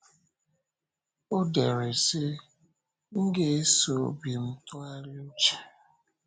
Ọ dere, sị: “M ga-esoo obi m tụgharịa uche;